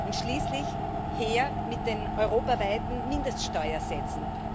Und schließlich her mit den europaweiten Mindeststeuersätzen!